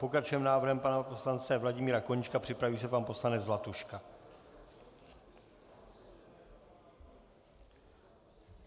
Pokračujeme návrhem pana poslance Vladimíra Koníčka, připraví se pan poslanec Zlatuška.